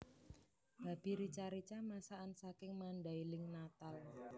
Babi rica rica masakan saking Mandailing Natal